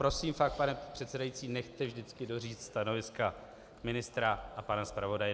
Prosím, fakt, pane předsedající, nechte vždycky doříct stanoviska ministra a pana zpravodaje.